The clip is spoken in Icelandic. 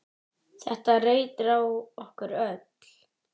Þetta reyndi á okkur öll.